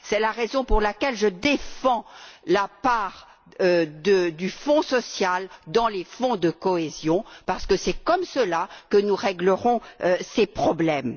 C'est la raison pour laquelle je défends la part du Fonds social dans les Fonds de cohésion, parce que c'est comme cela que nous règlerons ces problèmes.